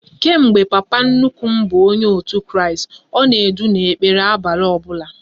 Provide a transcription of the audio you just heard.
Kemgbe papa nnukwu m bụrụ onye otu Kristi, ọ na-edu n'ekpere abalị ọbụla